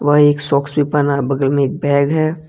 वह एक सॉक्स भी पहना है बगल में एक बैग है।